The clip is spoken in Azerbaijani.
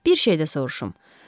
Bir şey də soruşum.